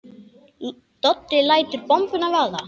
Doddi lætur bombuna vaða.